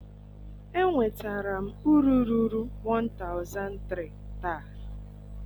enwetara m uru ruru 1300 taa